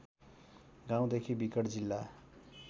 गाउँदेखि विकट जिल्ला